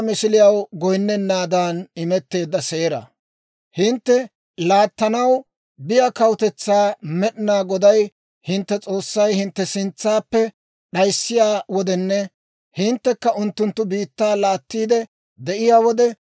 «Hintte laattanaw biyaa kawutetsaa Med'inaa Goday hintte S'oossay hintte sintsaappe d'ayissiyaa wodenne hinttekka unttunttu biittaa laattiide de'iyaa wode,